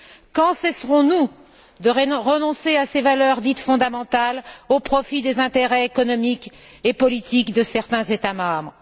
Quand cesserons nous de renoncer à ces valeurs dites fondamentales au profit des intérêts économiques et politiques de certains États membres?